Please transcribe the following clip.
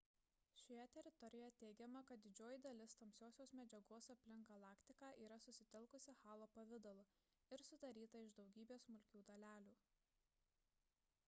šioje teorijoje teigiama kad didžioji dalis tamsiosios medžiagos aplink galaktiką yra susitelkusi halo pavidalu ir sudaryta iš daugybės smulkių dalelių